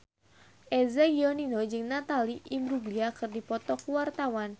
Eza Gionino jeung Natalie Imbruglia keur dipoto ku wartawan